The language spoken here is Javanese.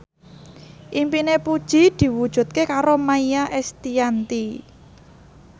impine Puji diwujudke karo Maia Estianty